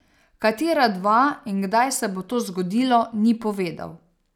Katera dva in kdaj se bo to zgodilo, ni povedal.